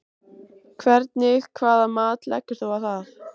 Hvernig hvaða mat leggur þú á það?